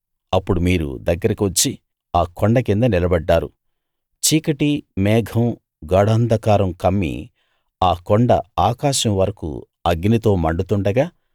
అప్పుడు మీరు దగ్గరకి వచ్చి ఆ కొండ కింద నిలబడ్డారు చీకటి మేఘం గాఢాంధకారం కమ్మి ఆ కొండ ఆకాశం వరకూ అగ్నితో మండుతుండగా